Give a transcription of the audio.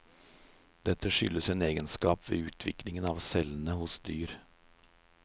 Dette skyldes en egenskap ved utviklingen av cellene hos dyr.